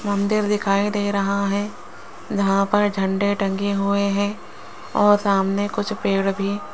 मंदिर दिखाई दे रहा है जहाँ पर झंडे टंगे हुए हैं और सामने कुछ पेड़ भी --